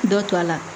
Dɔ to a la